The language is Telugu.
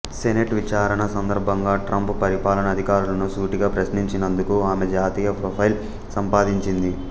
సెనేట్ విచారణ సందర్భంగా ట్రంప్ పరిపాలన అధికారులను సూటిగా ప్రశ్నించినందుకు ఆమె జాతీయ ప్రొఫైల్ సంపాదించింది